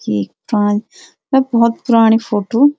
भौत पुराणी फोटो ।